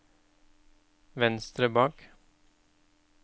venstre bak